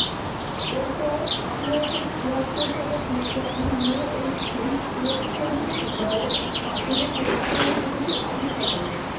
এর পর আঠারোশো তিহাত্ত সালে বিজ্ঞানী মে ও ইস্তিম electronic signal এর মাধ্যমে ছবি পাঠনোর পদ্ধতি আবিষ্কার করেন